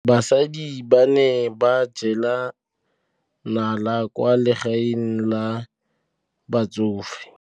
Basadi ba ne ba jela nala kwaa legaeng la batsofe.